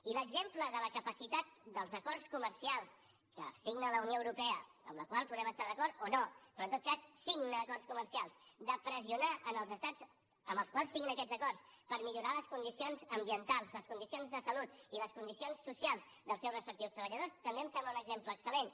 i l’exemple de la capacitat dels acords comercials que signa la unió europea amb la qual podem estar d’acord o no però en tot cas signa acords comercials de pressionar els estats amb els quals signa aquests acords per millorar les condicions ambientals les condicions de salut i les condicions socials dels seus respectius treballadors també em sembla un exemple excel·lent